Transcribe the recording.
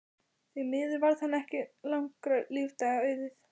Því miður varð henni ekki langra lífdaga auðið.